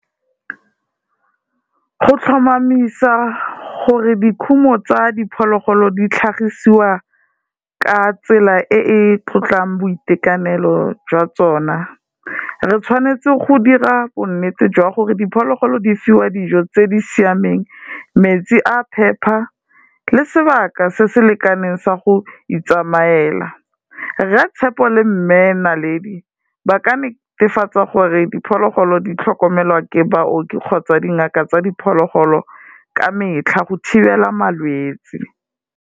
Go tlhomamisa gore dikhumo tsa diphologolo di tlhagisiwa ka tsela e e tlotlang boitekanelo jwa tsona, re tshwanetse go dira bonnete jwa gore diphologolo di fiwa dijo tse di siameng, metsi a phepa le sebaka se se lekaneng sa go itsamayela. Rre Tshepo le Mme Naledi, ba ka netefatsa gore diphologolo di tlhokomelwa ke baoki kgotsa dingaka tsa diphologolo ka metlha go thibela malwetsi.